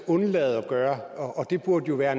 være